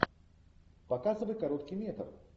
показывай короткий метр